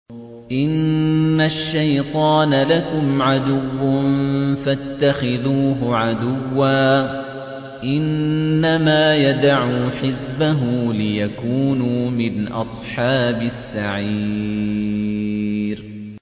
إِنَّ الشَّيْطَانَ لَكُمْ عَدُوٌّ فَاتَّخِذُوهُ عَدُوًّا ۚ إِنَّمَا يَدْعُو حِزْبَهُ لِيَكُونُوا مِنْ أَصْحَابِ السَّعِيرِ